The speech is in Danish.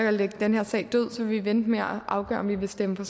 at lægge den her sag død vil vi vente med at afgøre om vi vil stemme for